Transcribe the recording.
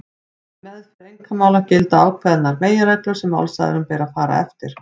Við meðferð einkamála gilda ákveðnar meginreglur sem málsaðilum ber að fara eftir.